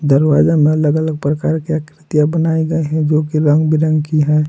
दरवाजा में अलग अलग प्रकार की आकृतियां बनाई गए हैं जो की रंग बिरंगी हैं।